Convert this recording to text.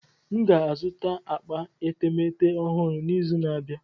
M ga-azụta akpa etemeete ọhụrụ n'izu na-abịa.